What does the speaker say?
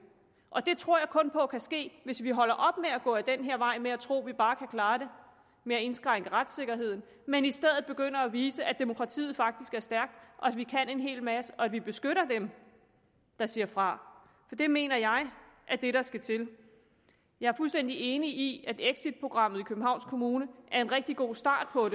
og det tror jeg kun på kan ske hvis vi holder op med at gå ad den her vej med at tro at vi bare kan klare det ved at indskrænke retssikkerheden men i stedet begynder at vise at demokratiet faktisk er stærkt og at vi kan en hel masse og at vi beskytter dem der siger fra det mener jeg er det der skal til jeg er fuldstændig enig i at exitprogrammet i københavns kommune er en rigtig god start på